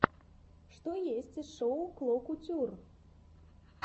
что есть из шоу кло кутюр